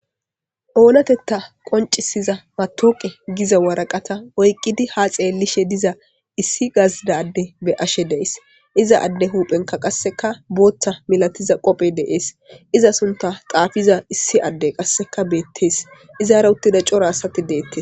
Oonatetta qoncisiza batooqe giza waraqata oykqidi ha xeellishe diza issi gazidadde be ashe dees iza adde huuphenka qasseka booththa milatiza qophe deees iza sunta xaafiza issi adde qasseka beettees izaara uttida cora asati deettes.